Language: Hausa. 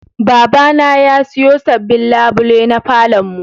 Babana ya siyo sabbin labule na falon mu.